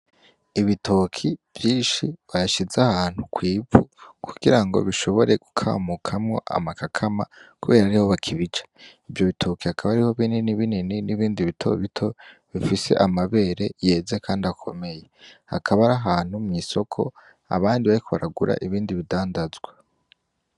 Ibitoke vyinshi bashize ahantu kw'ivu kugira bishobore gukamukamwo amakakama kubera ariho bakibica. Ivyo bitoke hakaba hariho binini binini n'ibindi bitobito bifise amabere yeze kandi akomeye, hakaba ari ahantu mw'isoko abandi bariko baragura ibindi bidandazwa.